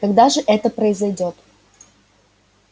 когда же это произойдёт